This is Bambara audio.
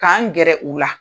K'an gɛrɛ u la.